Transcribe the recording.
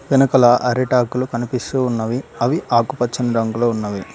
వెనకల అరిటాకులు కనిపిస్తూ ఉన్నవి అవి ఆకుపచ్చని రంగులో ఉన్నవి.